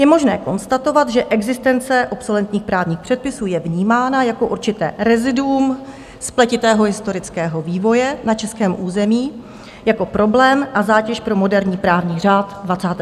Je možné konstatovat, že existence obsoletních právních předpisů je vnímána jako určité reziduum spletitého historického vývoje na českém území, jako problém a zátěž pro moderní právní řád 21. století.